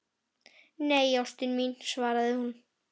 Nei, ástin mín, svarar hún.